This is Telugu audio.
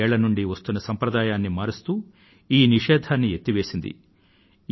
డెభ్భై ఏళ్ల నుండీ వస్తున్న సాంప్రదాయాన్ని మారుస్తూ ఈ నిషేధాన్ని ఎత్తివేసింది